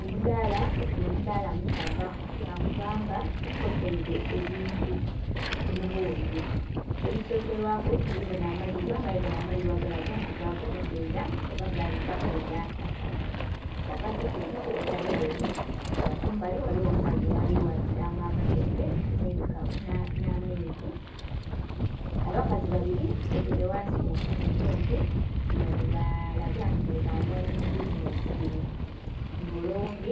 Omudaala nga guno omudaala musava lwa kubanga gukotaile ebintu mu mubungi. Ebisokelwaku tuli bona amalibwa nga gano amalibwa galaga nti baaganhoga ila oba gaabitaku ila akasana. Ghagati tulinagho wotameloni nga kumbali ghaligho omukazi ghali ghatilanga amatooke nh'amenvu. Abakazi babili batyaime ghansi mu tenti nga balaga nti nhi bananyini bizineesi dhino. Nga ole oghundhi